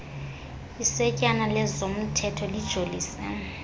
isetyana lezomthetho lijolise